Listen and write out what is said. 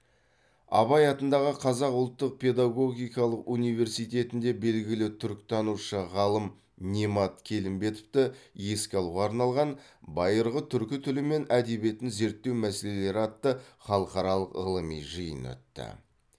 абай атындағы қазақ ұлттық педагогикалық университетінде белгілі түркітанушы ғалым немат келімбетовті еске алуға арналған байырғы түркі тілі мен әдебиетін зерттеу мәселелері атты халықаралық ғылыми жиын өтті